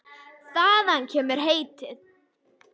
Þaðan kemur heitið.